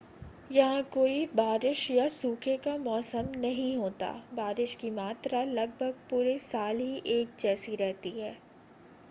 यहां कोई बारिश या सूखे का मौसम नहीं होता बारिश की मात्रा लगभग पूरे साल ही एक जैसी रहती है